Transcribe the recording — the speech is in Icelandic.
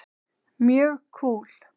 Mjög kúl.